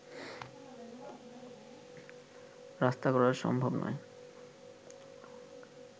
রক্ষা করা সম্ভব নয়